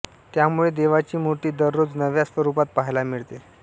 त्यामुळे देवाची मूर्ती दररोज नव्या स्वरूपात पहायला मिळते